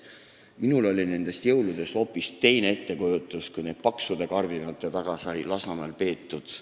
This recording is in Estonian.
Minul oli jõuludest hoopis teine ettekujutus, kui neid sai peetud Lasnamäel paksude kardinate taga.